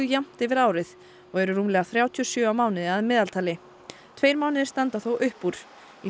jafnt yfir árið og eru rúmlega þrjátíu og sjö á mánuði að meðaltali tveir mánuðir standa þó upp úr í